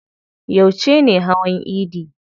Yauce ne hawan idi?